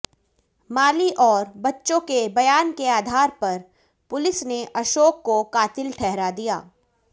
माली और बच्चों के बयान के आधार पर पुलिस ने अशोक को कातिल ठहरा दिया